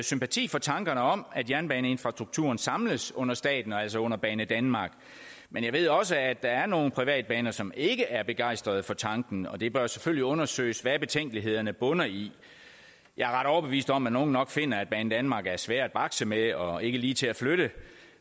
sympati for tankerne om at jernbaneninfrastrukturen samles under staten altså under banedanmark men jeg ved også at der er nogle privatbaner som ikke er begejstret for tanken og det bør selvfølgelig undersøges hvad betænkelighederne bunder i jeg er overbevist om at nogle nok finder at banedanmark er svær at bakse med og ikke lige til at flytte